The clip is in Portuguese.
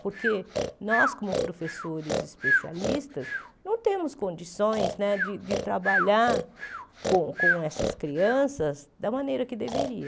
Porque nós, como professores especialistas, não temos condições né de de trabalhar com com essas crianças da maneira que deveria.